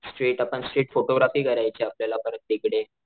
straight आपण straight photography करायची आपल्याला परत तिकडे,